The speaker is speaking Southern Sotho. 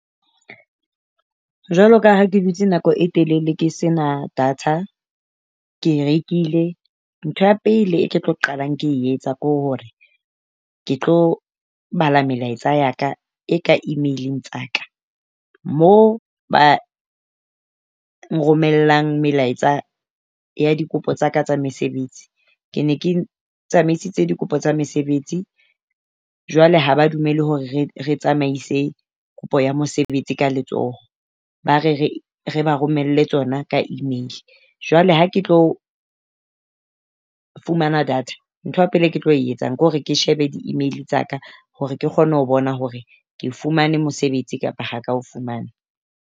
Jwalo ka ha ke dutse nako e telele ke se na data, ke e rekile ntho ya pele ke tlo qalang, ke etsa ke hore ke tlo bala melaetsa ya ka e ka email-ing tsa ka. Mo ba nromellang melaetsa ya dikopo tsa ka tsa mesebetsi. Ke ne ke tsamaisitse dikopo tsa mesebetsi jwale ha ba dumele hore re re tsamaise kopo ya mosebetsi ka letsoho. Ba re re re ba romelle tsona ka email. Jwale ha ke tlo fumana data nthwa pele ke tlo etsang ke hore ke shebe di email tsa ka hore ke kgone ho bona hore ke fumane mosebetsi kapa ha ka o fumana.